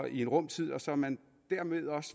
i en rum tid og så man dermed også